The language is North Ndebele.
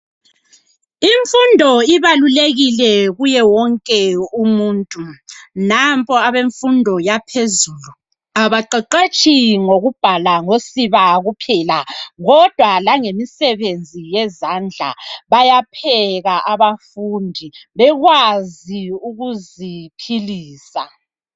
Imfundo ibalulekile kuye wonke umuntu. Nampa abemfundo yaphezulu abaqeqetshi ngokubhala ngosiba kuphela kodwa langemisebenzi yezandla. Bayapheka abafundi bekwazi ukuziphilisa.